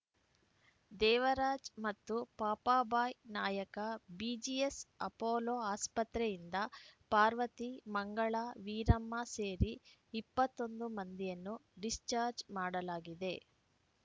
ದೇವರಾಜು ಮತ್ತು Papabai Nayaka BGS Apollo ಆಸ್ಪತ್ರೆಯಿಂದ ಪಾರ್ವತಿ ಮಂಗಳಾ ವೀರಮ್ಮ ಸೇರಿ ಇಪ್ಪತ್ತೊಂದು ಮಂದಿಯನ್ನು ಡಿಸ್‌ಚಾಜ್‌ರ್‍ ಮಾಡಲಾಗಿದೆ